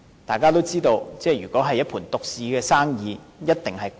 大家也知道，如果是一盤獨市生意，價格一定昂貴。